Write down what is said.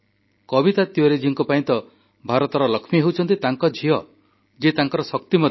କବିତା ତିୱାରୀ ଜୀଙ୍କ ପାଇଁ ତ ଭାରତର ଲକ୍ଷ୍ମୀ ହେଉଛନ୍ତି ତାଙ୍କ ଝିଅ ଯିଏ ତାଙ୍କର ଶକ୍ତି ମଧ୍ୟ